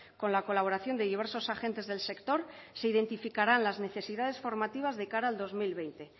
con la colaboración de diversos agentes del sector se identificarán las necesidades formativas de cara al dos mil veinte